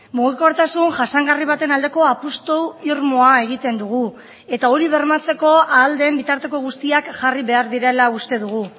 mugikortasun jasangarri baten aldeko apustu irmoa egiten dugu eta hori bermatzeko ahal den bitarteko guztiak jarri behar direla uste dugu